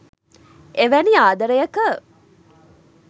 එවැනි ආදරයක